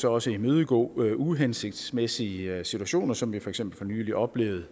også imødegå uhensigtsmæssige situationer som vi for eksempel oplevede